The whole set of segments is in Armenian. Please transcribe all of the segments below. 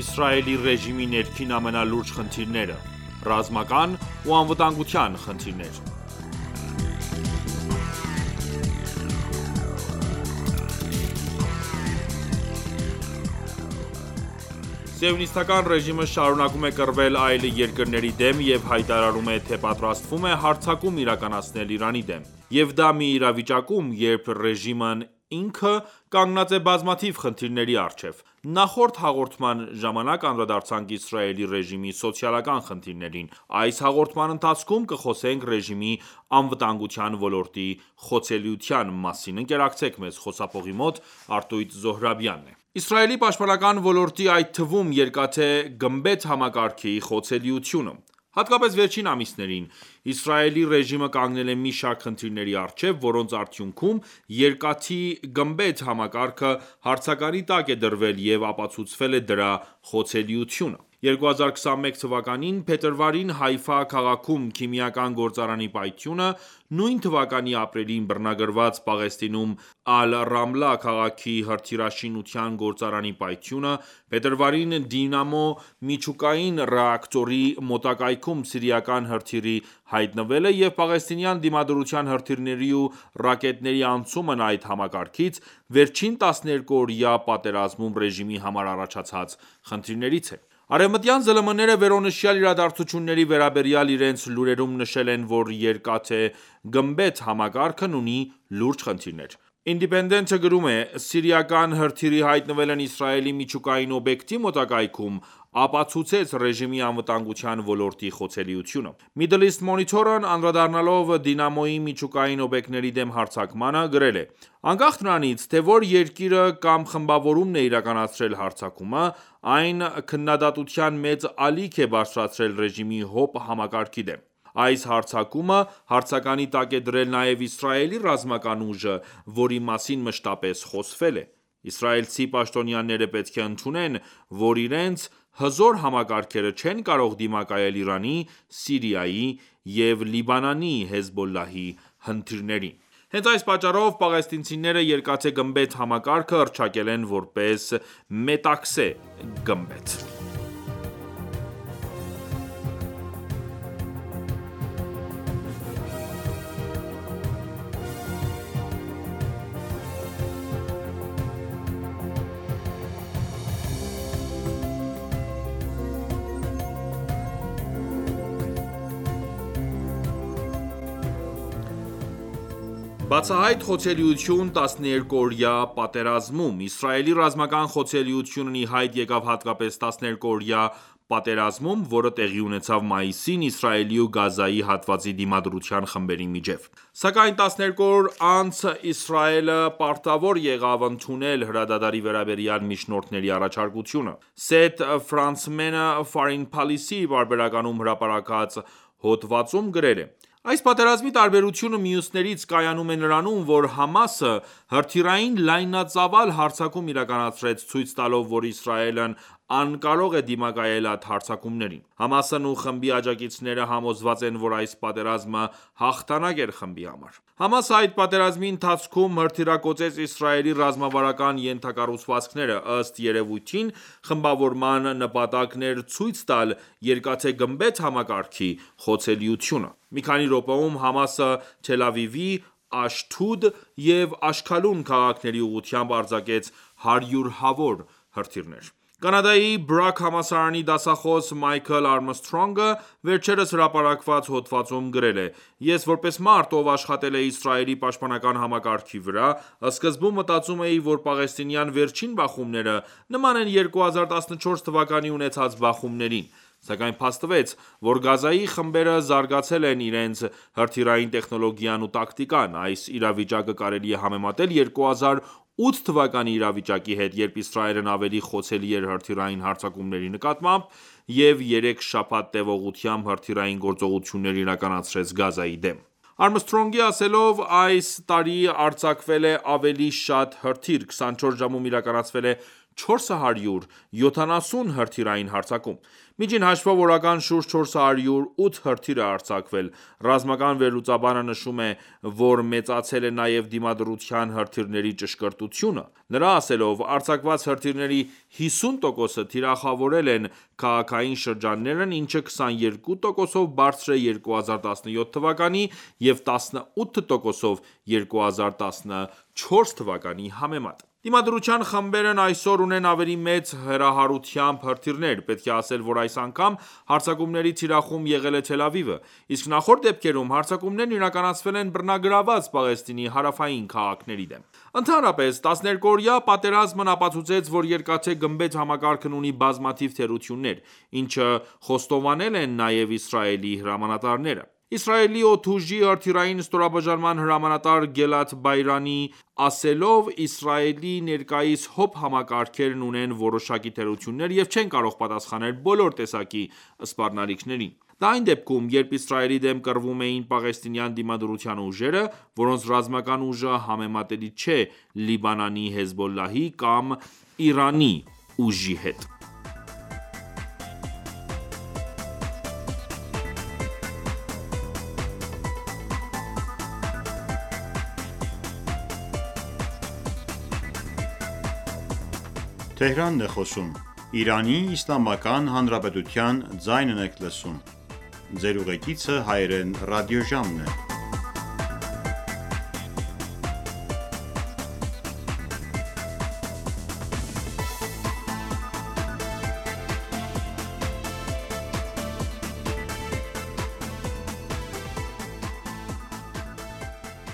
Իսրայելի ռեժիմի ներքին ամենալուրջ խնդիրները(2.Ռազմական ու անվտանգության խնդիրները) Սիոնիստական ռեժիմը շարունակում է կռվել այլ երկրների դեմ և հայտարարում է, թե պատրաստվում է հարձակում իրականացնել Իրանի դեմ: Եվ դա մի իրավիճակում, երբ ռեժիմն ինքը կանգնած է բազմաթիվ խնդիրների առջև:Նախորդ հաղորդման ժամանակ անդրադարձանք Իսրայելի ռեժիմի սոցիալական խնդիրներին: Այս հաղորդման ընթացքում կխոսենք ռեժիմի անվտանգության ոլորտի խոցելիության մասին: Իսրայելի պաշտպանական ոլորտի, այդ թվում՝ «Երկաթե գմբեթ» համակարգի խոցելիությունը Հատկապես վերջին ամիսներին, Իսրայելի ռեժիմը կանգնել է մի շարք խնդիրների առջև, որոնց արդյունքում, «Երկաթի գմբեթ» համակարգը հարցականի տակ է դրվել և ապացուցվել է դրա խոցելիությունը: 2021թ. փետրվարին Հայֆա քաղաքում քիմիական գործարանի պայթյունը, նույն թվականի ապրիլին բռնագրավված Պաղեստինում Ալ Ռամլա քաղաքի հրթիռաշինության գործարանի պայթյունը, փետրվարին՝ Դիմոնա միջուկային ռեակտորի մոտակայքում սիրիական հրթիռի հայտնվելը և պաղեստինյան Դիմադրության հրթիռների ու ռակետների անցումն այդ համակարգից, վերջին 12 օրյա պատերազմում ռեժիմի համար առաջացած խնդիրներից են: Արևմտյան ԶԼՄ-ները վերոնշյալ իրադարձությունների վերաբերյալ իրենց լուրերում նշել են, որ «Երկաթե գմբեթ» համակարգն ունի լուրջ խնդիրներ: Indipendent-ը գրում է. «Սիրիական հրթիռի հայտնվելն Իսրայելի միջուկային օբյեկտի մոտակայքում, ապացուցեց ռեժիմի անվտանգության ոլորտի խոցելիությունը»: Middle East Monitor-ն Անդրադառնալով Դիմոնայի միջուկային օբյեկտների դեմ հարձակմանը, գրել է. «Անկախ նրանից, թե որ երկիրը կամ խմբավորումն է իրականացրել հարձակումը, այն քննադատության մեծ ալիք է բարձրացրել ռեժիմի ՀՕՊ համակարգի դեմ: Այս հարձակումը հարցականի տակ է դրել նաև Իսրայելի ռազմական ուժը, որի մասին մշտապես խոսվել է: Իսրայելցի պաշտոնյաները պետք է ընդունեն, որ իրենց «հզոր համակարգերը» չեն կարող դիմակայել Իրանի, Սիրիայի ու Լիբանանի «Հեզբոլլահի» հրթիռներին»: Հենց այս պատճառով, պաղեստինցիները «Երկաթե գմբեթ» համակարգը հռչակել են որպես «Մետաքսե գմբեթ»: Բացահայտ խոցելիություն՝ 12-օրյա պատերազմում: Իսրայելի ռազմական խոցելիությունն ի հայտ եկավ հատկապես 12-օրյա պատերազմում, որը տեղի ունեցավ մայիսին՝ Իսրայելի ու Գազայի հատվածի Դիմադրության խմբերի միջև: Սակայն 12 օր անց, Իսրայելը պարտավոր եղավ ընդունել հրադադարի վերաբերյալ միջնորդների առաջարկությունը: Սեթ Ֆրանցմենը Foregin Policy պարբերականում հրապարակված հոդվածում գրել է. «Այս պատերազմի տարբերությունը մյուսներից կայանում է նրանում, որ ՀԱՄԱՍ-ը հրթիռային լայնածավալ հարձակում իրականացրեց, ցույց տալով, որ Իսրայելն անկարող է դիմակայել այդ հարձակումներին: ՀԱՄԱՍ-ն ու խմբի աջակիցները համոզված են, որ այս պատերազմը հաղթանակ էր խմբի համար: ՀԱՄԱՍ-ը այդ պատերազմի ընթացքում հրթիռակոծեց Իսրայելի ռազմավարական ենթակառուցվածքները: Ըստ երևույթին, խմբավորման նպատակն էր ցույց տալ «Երկաթե գմբեթ » համակարգի խոցելիությունը: Մի քանի րոպեում, ՀԱՄԱՍ-ը Թելա Ավիվի, Աշթուդ և Աշքալուն քաղաքների ուղղությամբ արձակեց հարյուրավոր հրթիռներ»: Կանադայի Բրաք համալսարանի դասախոս Մայքլ Արմսթրոնգը, վերջերս հրապարակված հոդվածում գրել է. «Ես, որպես մարդ, ով աշխատել է Իսրայելի պաշտպանական համակարգերի վրա, սկզբում մտածում էի, որ պաղեստինյան վերջին բախումները նման են 2014թ տեղի ունեցած բախումներին: Սակայն փաստվեց, որ Գազայի խմբերը զարգացրել են իրենց հրթիռային տեխնոլոգիան ու տակտիկան: Այս իրավիճակը կարելի է համեմատել 2008թ իրավիճակի հետ, երբ Իսրայելն ավելի խոցելի էր հրթիռային հարձակումների նկատմամբ և երեք շաբաթ տևողությամբ հրթիռային գործողություններ իրականացրեց Գազայի դեմ»: Արմսթրոնգի ասելով, «Այս տարի արձակվել է ավելի շատ հրթիռ: 24 ժամում իրականացվել է 470 հրթիռային հարձակում: Միջին հաշվով, օրական շուրջ 408 հրթիռ է արձակվել: Ռազմական վերլուծաբանը նշում է, որ մեծացել է նաև Դիմադրության հրթիռների ճշգրտությունը: Նրա ասելով. «Արձակված հրթիռների 50 տոկոսը թիրախավորել են քաղաքային շրջաններն, ինչը 22 տոկոսով բարձր է 2017թ. և 18 տոկոսով՝ 2014թ. համեմատ»: Դիմադրության խմբերն այսօր ունեն ավելի մեծ հեռահարությամբ հրթիռներ: Պետք է ասել, որ այս անգամ հարձակումների թիրախում եղել է Թել Ավիվը: Իսկ նախորդ դեպքերում, հարձակումներն իրականացվել են բռնագրավված Պաղեստինի հարավային քաղաքների դեմ: Ընդհանրապես, 12-օրյա պատերազմն ապացուցեց, որ «Երկաթե գմբեթ» համակարգն ունի բազմաթիվ թերություններ, ինչը խոստովանել են նաև Իսրայելի հրամանատարները: Իսրայելի օդուժի հրթիռային ստորաբաժանման հրամանատար Գելաթ Բեյրանի ասելով. «Իսրայելի ներկայիս ՀՕՊ համակարգերն ունեն որոշակի թերություններ և չեն կարող պատասխանել բոլոր տեսակի սպառնալիքներին»: Դա այն դեպքում, երբ Իսրայելի դեմ կռվում էին պաղեստինյան Դիմադրության ուժերը, որոնց ռազմական ուժը համեմատելի չէ Լիբանանի «Հեզբոլլահ»-ի կամ Իրանի ուժի հետ: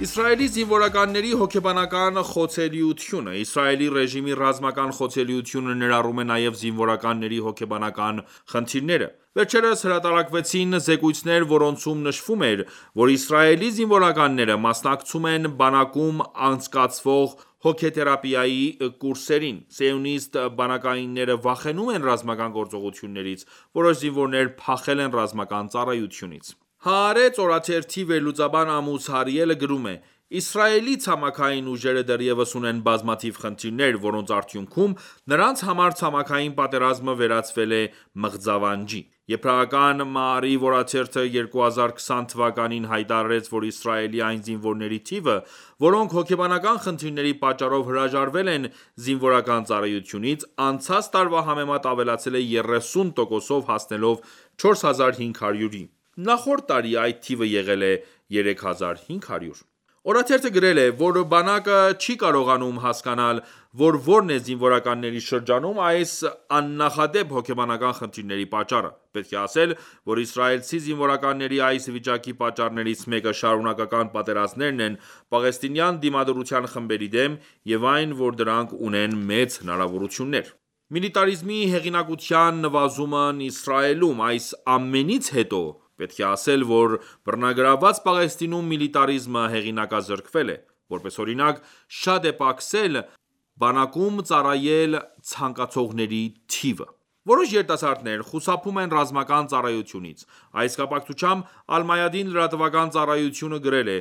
Իսրայելի զինվորականների հոգեբանական խոցելիությունը Իսրայելի ռեժիմի ռազմական խոցելիությունը ներառում է նաև զինվորականների հոգեբանական խնդիրները: Վերջերս հրատարակվեցին զեկույցներ, որոնցում նշվում էր, որ Իսրայելի զինվորականները մասնակցում են բանակում անցկացվող հոգեթերապիայի կուրսերին: Սիոնիստ բանակայինները վախենում են ռազմական գործողություններից: Որոշ զինվորներ փախել են ռազմական ծառայությունից: «Հաարեց» օրաթերթի վերլուծաբան Ամուս Հարիելը գրում է. «Իսրայելի ցամաքային ուժերը դեռևս ունեն բազմաթիվ խնդիրներ, որոնց արդյունքում, նրանց համար ցամաքային պատերազմը վերածվել է մղձավանջի: Եբրայական «Մաարիվ» օրաթերթը 2020թ հայտարարեց, որ Իսրայելի այն զինվորների թիվը, որոնք հոգեբանական խնդիրների պատճառով հրաժարվել են զինվորական ծառայությունից, անցած տարվա համեմատ ավելացել է 30 տոկոսով, հասնելով 4500-ի: Նախորդ տարի այդ թիվը եղել է 3500»: Օրաթերթը գրել է, որ բանակը չի կարողանում հասկանալ, որ որն է զինվորականների շրջանում այս աննախադեպ հոգեբանական խնդիրների պատճառը: Պետք է ասել, որ իսրայելցի զինվորականների այս վիճակի պատճառներից մեկը շարունակական պատերազմներն են պաղեստինյան Դիմադրության խմբերի դեմ և այն, որ դրանք ունեն մեծ հնարավորություններ: Միլիտարիզմի հեղինակության նվազումն Իսրայելում Այս ամենից հետո, պետք է ասել, որ բռնագրավված Պաղեստինում միլիտարիզմը հեղինակազրկվել է: Որպես օրինակ, շատ է պակասել բանակում ծառայել ցանկացողների թիվը: Որոշ երիտասարդներ խուսափում են ռազմական ծառայությունից: Այս կապակցությամբ, «Ալ Մայադին» լրատվական ծառայությունը գրել է.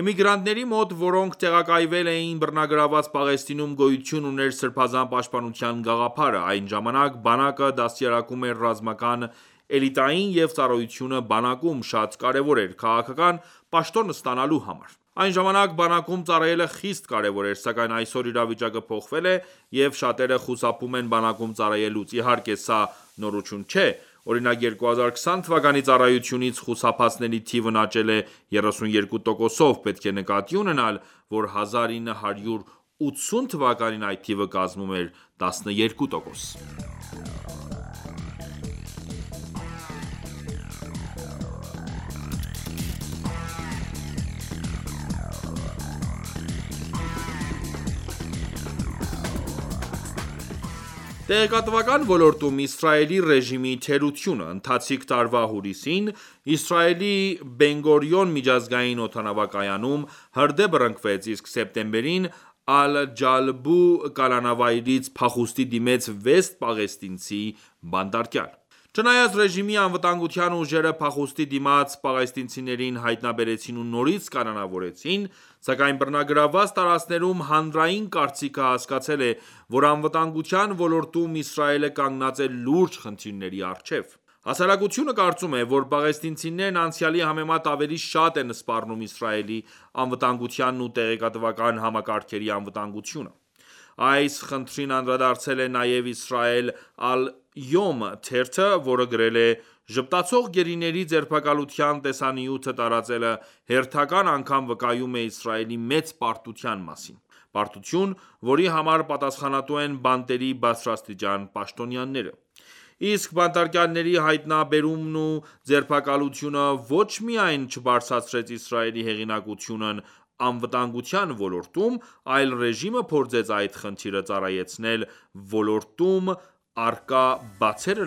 «Էմիգրանտների մոտ, որոնք տեղակայվել էին բռնագրավված Պաղեստինում, գոյություն ուներ Սրբազան պաշտպանության գաղափարը: Այն ժամանակ, բանակը դաստիարակում էր ռազմական էլիտային և ծառայությունը բանակում, շատ կարևոր էր՝ քաղաքական պաշտոն ստանալու համար: Այն ժամանակ բանակում ծառայելը խիստ կարևոր էր: Սակայն այսօր իրավիճակը փոխվել է և շատերը խուսափում են բանակում ծառայելուց: Իհարկե սա նորություն չէ: Օրինակ 2020թ ծառայությունից խուսափածների թիվն աճել է 32 տոկոսով: Պետք է նկատի ունենալ, որ 1980թ․ այդ թիվը կազմում էր 12 տոկոս: Տեղեկատվական ոլորտում Իսրայելի ռեժիմի թերությունը Ընթացիկ տարվա հուլիսին, Իսրայելի Բենգորիուն միջազգային օդանավակայանում հրդեհ բռնկվեց, իսկ սեպտեմբերին Ալ-Ջալբու կալանավայրից փախուստի դիմեց վեց պաղեստինցի բանտարկյալ: Չնայած ռեժիմի անվտանգության ուժերը փախուստի դիմած պաղեստինցիներին հայտնաբերեցին ու նորից կալանավորեցին, սակայն բռնագրավված տարածքներում հանրային կարծիքը հասկացել է, որ անվտանգության ոլորտում Իսրայելը կանգնած է լուրջ խնդիրների առջև: Հասարակությունը կարծում է, որ պաղեստինցիներն անցյալի համեմատ ավելի շատ են սպառնում Իսրայելի անվտանգությանն ու տեղեկատվական համակարգերի անվտանգությանը: Այս խնդրին անդրադարձել է նաև «Իսրայել ալ Յոմ » թերթը, որը գրել է. «Ժպտացող գերիների ձերբակալության տեսանյութը տարածելը հերթական անգամ վկայում է Իսրայելի մեծ պարտության մասին: Պարտություն, որի համար պատասխանատու են բանտերի բարձրաստիճան պաշտոնյաները»: Իսկ բանտարկյալների հայտնաբերումն ու ձերբակալությունը ոչ միայն չբարձրացրեց Իսրայելի հեղինակությունն անվտանգության ոլորտում, այլ ռեժիմը փորձեց այդ խնդիրը ծառայեցնել ոլորտում առկա բացերը